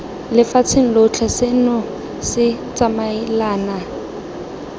lefatsheng lotlhe seno se tsamaelana